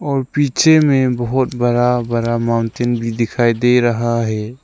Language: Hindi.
पीछे में बहोत बड़ा बड़ा माउंटेन भी दिखाई दे रहा है।